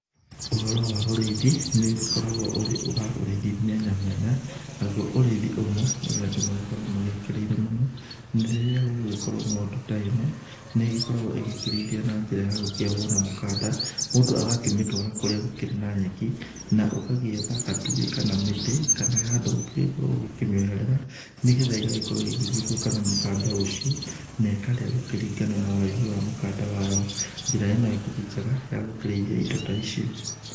Ũhoro wa ũrĩithi, nĩ ũgĩkoragwo ũrĩ wa ũrĩithi mĩanya mĩanya, na guo ũrĩithi ũmwe ũria andũ magĩkoragwo magĩkĩrĩire mũno, nĩ rĩrĩa gũgũgĩkorwo ng'ondu ta ĩno, nĩ ĩgĩkoragwo ĩgĩkĩrĩithio na njĩra ya gũkĩohwo na mũkanda, mũndũ agakĩmĩtũara kũrĩa gũkĩrĩ na nyeki, na ũgagĩetha gatũgĩ kana mĩtĩ, kana handũ ũgĩkĩmĩoherera nĩ getha ĩgagĩkorwo igĩthiũrũrũka na mũkanda ũcio, na ĩkarĩa gũkĩringana na ũraihu wa mũkanda wayo. Njĩra ĩno ĩkĩrĩ njega ya gũkĩrĩithia indo ta ici.